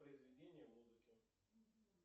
произведение музыки